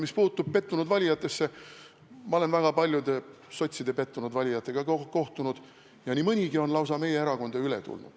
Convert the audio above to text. Mis puudutab pettunud valijaid, siis ma olen kohtunud sotside väga paljude pettunud valijatega ja nii mõnigi on lausa meie erakonda üle tulnud.